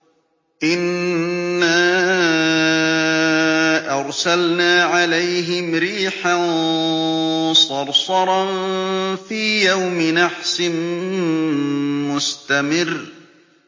إِنَّا أَرْسَلْنَا عَلَيْهِمْ رِيحًا صَرْصَرًا فِي يَوْمِ نَحْسٍ مُّسْتَمِرٍّ